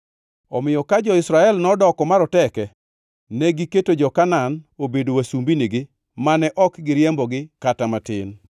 Omiyo ka jo-Israel nodoko maroteke, negiketo jo-Kanaan obedo wasumbinigi mane ok giriembogi kata matin.